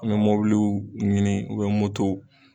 an be mobiliw ɲini ubiyɛn motow